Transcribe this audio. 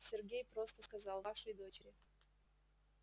сергей просто сказал вашей дочери